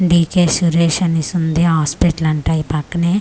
DJ Suresh అనేసి ఉంది hospital అంటా ఈ పక్కనే.